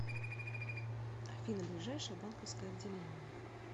афина ближайшее банковское отделение